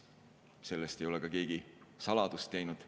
Sellest ei ole keegi saladust teinud.